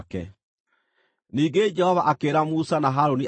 Ningĩ Jehova akĩĩra Musa na Harũni atĩrĩ,